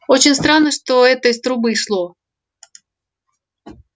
очень странно что это из трубы шло